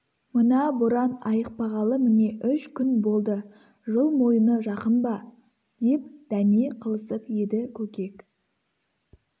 мына боран айықпағалы міне үш күн болды жыл мойыны жақын ба деп дәме қылысып еді көкек